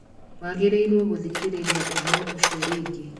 Wagĩrĩirũo gũthikĩrĩria ũhoro ũcio rĩngĩ